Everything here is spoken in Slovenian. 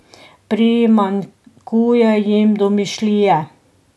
Primanjkuje jim domišljije.